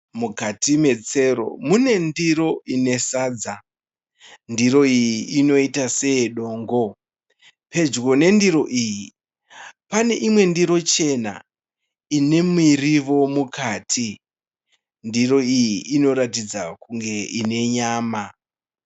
Mukati metsero mune ndiro ine sadza. Ndiro iyi inoita seyedongo. Pedyo pendiro iyi pane imwe ndiro chena ine mirivo mukati. Ndiro iyi inoratidza kuti ine nyama.